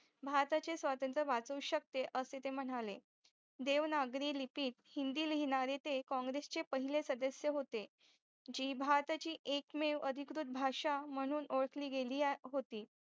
भारताचे सावतंत्र वाचवू शकते असे ते म्हणाले देवनागरी लिखित हिंदी लिहिणारे ते काँग्रेस चे पहिले सदस्य होते जी भारताची एकमेव आदीकृत भाषा म्हणून ओळखली गेली होती